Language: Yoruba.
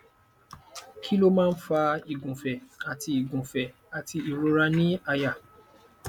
kí ló máa ń fa igunfe àti igunfe àti ìrora ni àyà